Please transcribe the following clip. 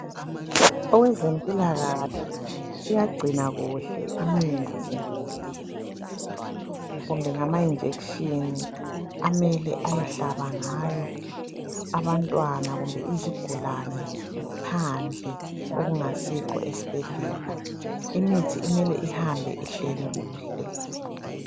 Owezempilakahle uyagcina kuhle imithi kumbe ngama injection amele ayehlaba ngawo abantwana kumbe izigulane phandle okungasikho esibhedlela imithi mele ihambe ihleli kuhle